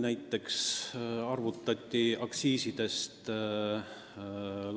Näiteks kunagi prognoositi aktsiiside